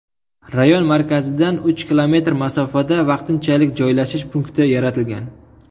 Rayon markazidan uch kilometr masofada vaqtinchalik joylashish punkti yaratilgan.